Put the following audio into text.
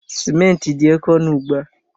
Simenti dị oké ọnụ ugbu a.